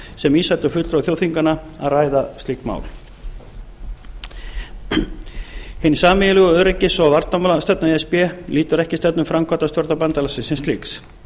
sem vísaði til fulltrúa þjóðþinganna að ræða slík mál hin sameiginlega öryggis og varnarmálastefna e s b lýtur ekki stefnu framkvæmdastjórnar bandalagsins sem slíks